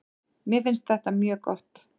Mér finnst þetta mjög gott.